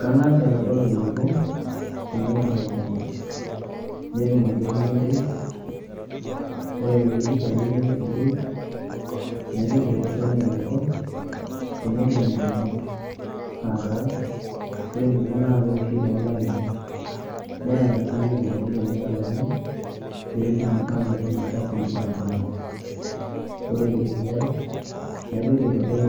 Kang'as aitodol eneiko teneturr olchamba, netum ailepunye enterit ore peeidip ailepunye enterit naitoki aitodol eneiko tenedung' ingumot aataa ngumot naakeoshi toolainini neeta sii eneikuni teneitalami peetum aanoto nafasi nabulunye. Ore eniare naitoki aitodol